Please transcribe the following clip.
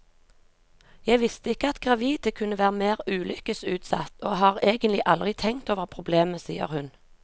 Jeg visste ikke at gravide kunne være mer ulykkesutsatt, og har egentlig aldri tenkt over problemet, sier hun.